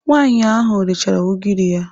Nwaanyị ahụ rechara ugiri ya.